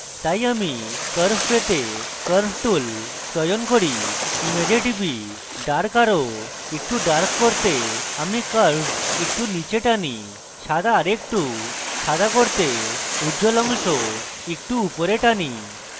তাই আমি curves পেতে curve tool চয়ন করি এবং image টিপি এবং dark আরো একটু dark করতে আমি curves একটু নীচে টানি এবং সাদা আরেকটু সাদা করতে উজ্জ্বল অংশ একটু উপরে টানি